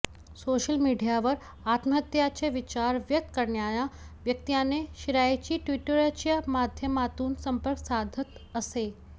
social मिडीयावर आत्महत्येचा विचार व्यक्त करणाऱ्या व्यक्तींना शिराइशी ट्विटरच्या माध्यमातून संपर्क साधत असे